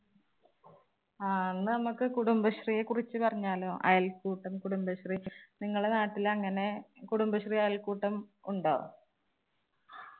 ആ എന്ന നമ്മുക്ക് കുടുംബശ്രീയെ കുറിച്ച് പറഞ്ഞാലോ അയൽക്കൂട്ടം കുടുംബശ്രീ നിങ്ങളെ നാട്ടിൽ അങ്ങനെ കുടുംബശ്രീ അയൽക്കൂട്ടം ഉണ്ടോ